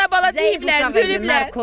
Anana bala deyiblər, gülüblər.